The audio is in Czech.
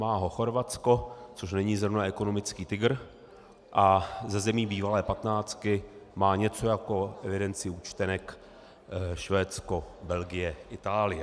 Má ho Chorvatsko, což není zrovna ekonomický tygr, a ze zemí bývalé patnáctky má něco jako evidenci účtenek Švédsko, Belgie, Itálie.